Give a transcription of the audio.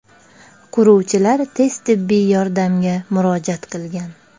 Quruvchilar tez tibbiy yordamga murojaat qilgan.